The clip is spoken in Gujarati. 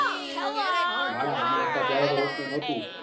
ના ના અમે હતા ત્યારે તો ropeway નતુ